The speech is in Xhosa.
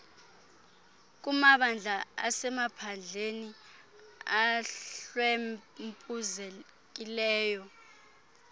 kumabandla asemaphandleni ahlwempuzekileyo